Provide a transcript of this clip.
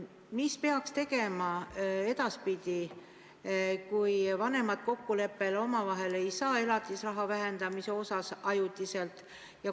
Mis peaks tegema edaspidi, kui vanemad ei saa omavahel kokkuleppele elatisraha ajutises vähendamises?